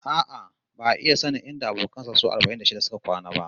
A'a, ba'a iya sanin inda abokan sa su arba'in da shida suka kwana ba